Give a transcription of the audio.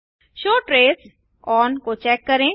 show ट्रेस ओन को चेक करें